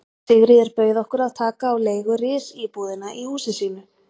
Sigríður bauð okkur að taka á leigu risíbúðina í húsi sínu.